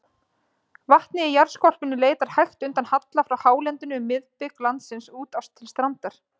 Vatnið í jarðskorpunni leitar hægt undan halla frá hálendinu um miðbik landsins út til strandar.